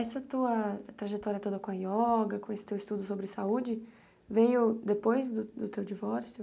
Essa tua trajetória toda com a yoga, com esse teu estudo sobre saúde, veio depois do do teu divórcio?